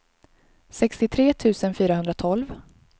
sextiotre tusen fyrahundratolv